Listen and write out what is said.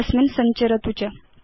तस्मिन् सञ्चरतु च